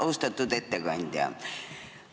Austatud ettekandja!